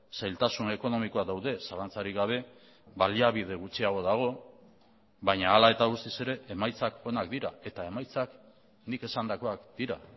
zailtasun ekonomikoak daude zalantzarik gabe baliabide gutxiago dago baina hala eta guztiz ere emaitzak onak dira eta emaitzak nik esandakoak dira